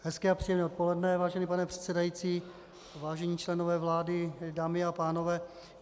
Hezké a příjemné odpoledne, vážený pane předsedající, vážení členové vlády, dámy a pánové.